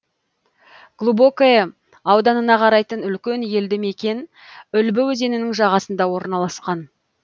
глубокое ауданына қарайтын үлкен елді мекен үлбі өзенінің жағасында орналасқан